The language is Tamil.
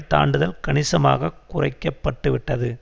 தாண்டுதல் கணிசமாக குறைக்கப்பட்டுவிட்டது